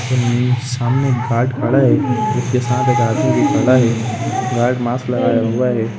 सामने गार्ड खड़ा है उसके साथ एक आदमी खड़ा है गार्ड मास्क लगाया हुआ है।